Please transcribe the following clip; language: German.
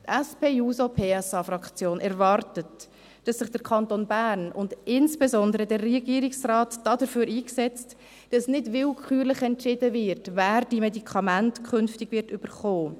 Die SP-JUSO-PSA-Fraktion erwartet, dass sich der Kanton Bern und insbesondere der Regierungsrat dafür einsetzt, dass nicht willkürlich entschieden wird, wer diese Medikamente künftig erhalten wird.